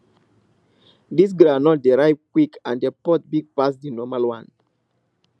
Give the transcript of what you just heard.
this groundnut dey ripe quick and the pod big pass the normal one